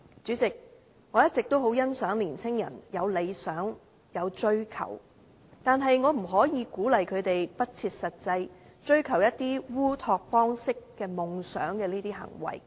主席，我一直也很欣賞年青人有理想和追求，但我不可以鼓勵他們不切實際，追求烏托邦式夢想的行為。